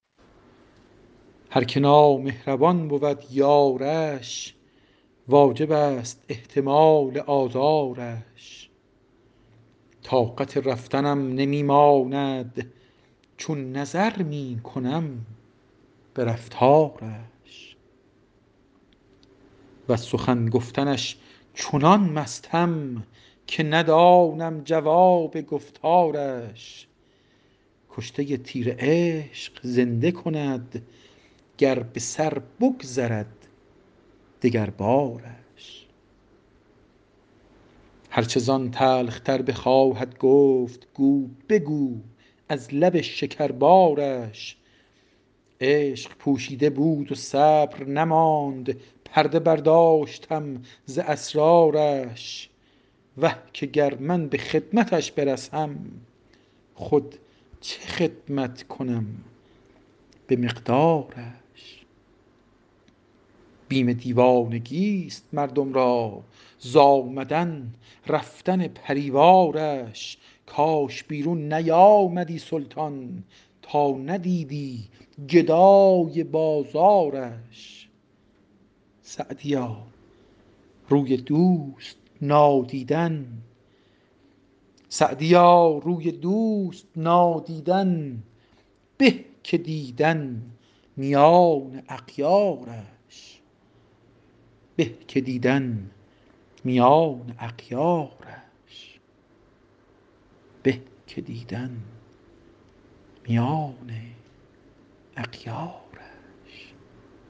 هر که نامهربان بود یارش واجب است احتمال آزارش طاقت رفتنم نمی ماند چون نظر می کنم به رفتارش وز سخن گفتنش چنان مستم که ندانم جواب گفتارش کشته تیر عشق زنده کند گر به سر بگذرد دگربارش هر چه زان تلخ تر بخواهد گفت گو بگو از لب شکربارش عشق پوشیده بود و صبر نماند پرده برداشتم ز اسرارش وه که گر من به خدمتش برسم خود چه خدمت کنم به مقدارش بیم دیوانگیست مردم را ز آمدن رفتن پری وارش کاش بیرون نیامدی سلطان تا ندیدی گدای بازارش سعدیا روی دوست نادیدن به که دیدن میان اغیارش